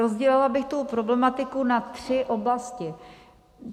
Rozdělila bych tu problematiku na tři oblasti.